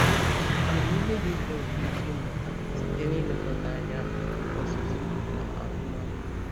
Amamihe dị mfe nwere ike ịmụta site n’ilekọta anya, ọzụzụ, na ahụmahụ.